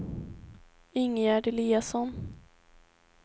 Ingegärd Eliasson